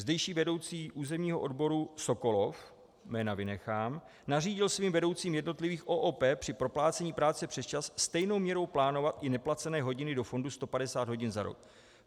Zdejší vedoucí územního odboru Sokolov, jména vynechám, nařídil svým vedoucím jednotlivých OOP při proplácení práce přesčas stejnou měrou plánovat i neplacené hodiny do fondu 150 hodin za rok.